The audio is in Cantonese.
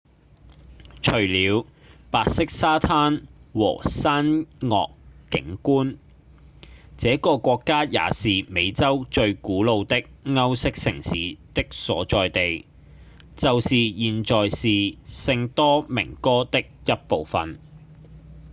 除了白色沙灘和山岳景觀這個國家也是美洲最古老的歐式城市的所在地就是現在是聖多明哥的一部份